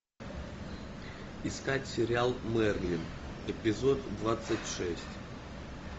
искать сериал мерлин эпизод двадцать шесть